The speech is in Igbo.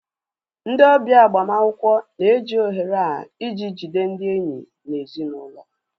Ndị ọbịa agbamakwụkwọ na-eji ohere a iji jide ndị enyi na ezinụlọ